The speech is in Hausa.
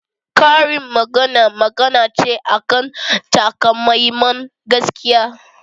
Karin magana magana ce akan takamaiman gaskiya